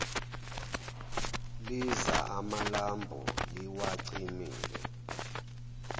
liza amalambu liwacimile